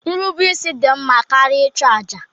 Nrubeisi dị mma karịa ịchụ àjà